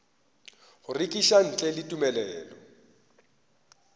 go rekiša ntle le tumelelo